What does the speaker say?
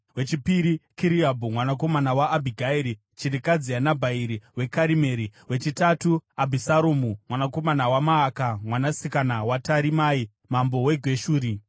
wechipiri, Kiriabhu mwanakomana waAbhigairi chirikadzi yaNabhari weKarimeri; wechitatu, Abhusaromu mwanakomana waMaaka mwanasikana waTarimai mambo weGeshuri;